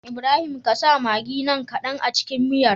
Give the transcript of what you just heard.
Ibrahim ƙasa maggin nan kadan a cikin miyar